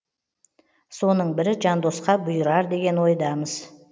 соның бірі жандосқа бұйырар деген ойдамыз